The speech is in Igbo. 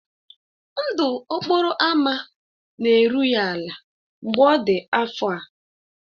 Ndụ okporo ámá na-eru ya ala mgbe ọ dị afọ a.